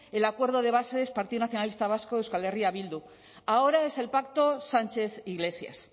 el acuerdo de bases partido nacionalista vasco euskal herria bildu ahora es el pacto sánchez iglesias